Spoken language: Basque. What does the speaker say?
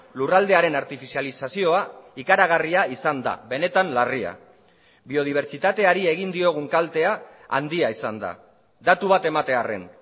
lurraldearen artifizializazioa ikaragarria izan da benetan larria biodibertsitateari egin diogun kaltea handia izan da datu bat ematearren